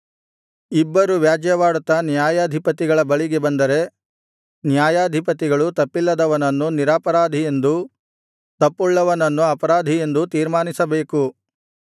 ಇಬ್ಬರು ವ್ಯಾಜ್ಯವಾಡುತ್ತಾ ನ್ಯಾಯಾಧಿಪತಿಗಳ ಬಳಿಗೆ ಬಂದರೆ ನ್ಯಾಯಾಧಿಪತಿಗಳು ತಪ್ಪಿಲ್ಲದವನನ್ನು ನಿರಪರಾಧಿ ಎಂದೂ ತಪ್ಪುಳ್ಳವನನ್ನು ಅಪರಾಧಿ ಎಂದೂ ತೀರ್ಮಾನಿಸಬೇಕು